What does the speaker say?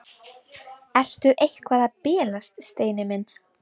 Ertu eitthvað að bilast, Steini minn?